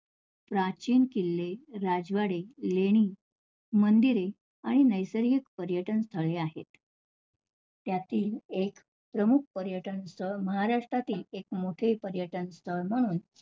प्राचीन किल्ले, राजवाडे, लेणी, मंदिरे आणि नैसर्गिक पर्यटन स्थळे आहेत. त्यातील एक प्रमुख पर्यटन स्थळ, महाराष्ट्रातील मोठे पर्यटन स्थळ म्हणून